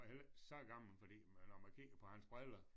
Heller ikke så gammel fordi når man kigger på hans briller